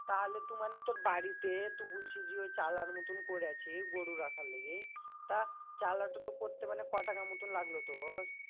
তাহলে তু মানে তোর বাড়িতে তু বুলছি যে ওই চালার মতন করেছি গরু রাখার লিগে তা চালাটো তো করতে মানে কটাকার মতন লাগলো তোর?